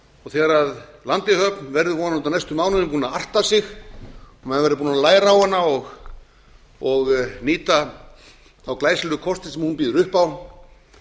og þegar landeyjahöfn verður vonandi á næstu mánuðum búin að arta sig og maður verður búinn að læra á hana og nýta þá glæsilegu kosti sem hún býður upp á